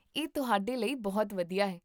ਇਹ ਤੁਹਾਡੇ ਲਈ ਬਹੁਤ ਵਧੀਆ ਹੈ